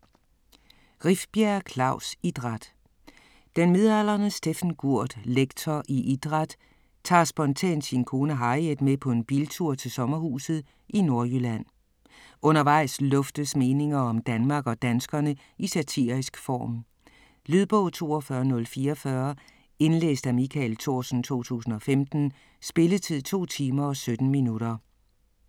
Rifbjerg, Klaus: Idræt Den midaldrende Steffen Gurt, lektor i idræt, tager spontant sin kone Harriet med på en biltur til sommerhuset i Nordjylland. Undervejs luftes meninger om Danmark og danskerne i satirisk form. Lydbog 42044 Indlæst af Michael Thorsen, 2015. Spilletid: 2 timer, 17 minutter.